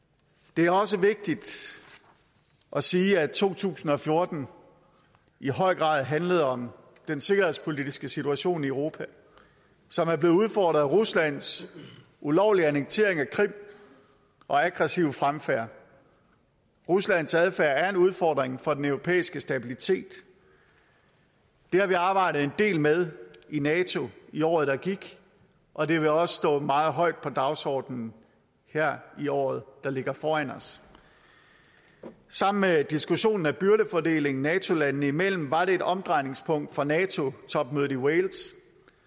det er også vigtigt at sige at to tusind og fjorten i høj grad handlede om den sikkerhedspolitiske situation i europa som er blevet udfordret af ruslands ulovlige annektering af krim og aggressive fremfærd ruslands adfærd er en udfordring for den europæiske stabilitet det har vi arbejdet en del med i nato i året der gik og det vil også stå meget højt på dagsordenen her i året der ligger foran os sammen med diskussionen om byrdefordelingen nato landene imellem var det et omdrejningspunkt for nato topmødet i wales